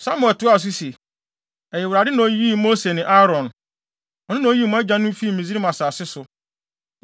Samuel toaa so se, “Ɛyɛ Awurade na oyii Mose ne Aaron. Ɔno na oyii mo agyanom fii Misraim asase so.